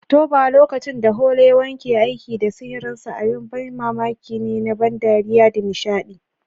Oktoba, lokacin da Halloween ke aiki da sihirinsa, abin ban mamaki ne na ban dariya da nishaɗi.